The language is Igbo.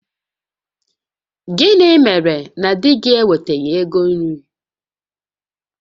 Gịnị mere na di gị ewetaghị ego nri?